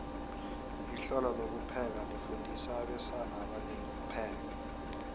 ihlelo lokupheka lifundisa abesana abanengi ukupheka